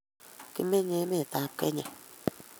Kimenye emetap Kenya.